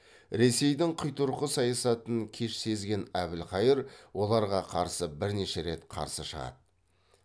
ресейдің құйтырқы саясатын кеш сезген әбілқайыр оларға қарсы бірнеше рет қарсы шығады